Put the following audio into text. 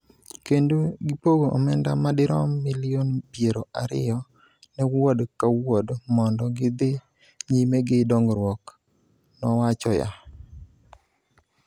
kendo gipogo omenda madirom milion piero ariyo ne Wuod ka Wuod mondo gidhi nyime gi dongruok,� nowachoya.